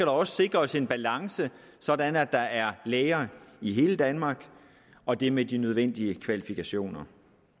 også sikres en balance sådan at der er læger i hele danmark og det med de nødvendige kvalifikationer